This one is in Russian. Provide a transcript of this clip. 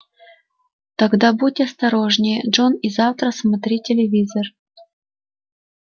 тогда будь осторожнее джон и завтра смотри телевизор